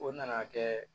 O nana kɛ